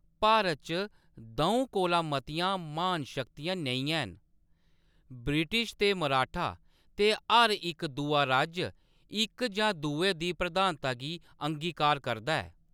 भारत च द; ऊं कोला मतियां महान शक्तियां नेईं हैन , ब्रिटिश ते मराठा, ते हर इक दूआ राज्य इक जां दुए दी प्रधानता गी अंगीकार करदा ऐ।